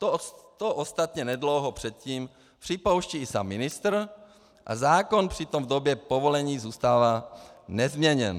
To ostatně nedlouho předtím připouští i sám ministr a zákon přitom v době povolení zůstává nezměněn.